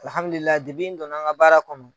n don na n ka baara kɔnɔ.